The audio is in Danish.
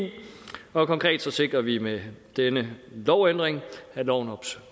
konkret sikrer vi med denne lovændring at lovens